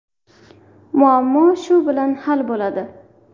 Muammo shu bilan hal bo‘ladi.